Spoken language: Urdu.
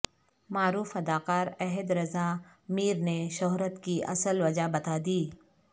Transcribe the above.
معروف اداکار احد رضا میر نے شہرت کی اصل وجہ بتا دی